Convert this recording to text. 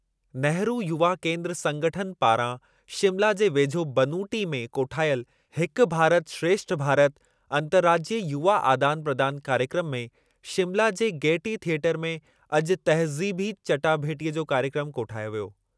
नेहरू युवा केन्द्र संगठनि पारां शिमला जे वेझो बनूटी में कोठायलु 'हिक भारत श्रेष्ठ भारत' अंतर्राज्यीय युवा आदान प्रदान कार्यक्रमु में शिमला जे गेयटी थियेटर में अॼु तहज़ीबी चटाभेटीअ जो कार्यक्रमु कोठायो वियो।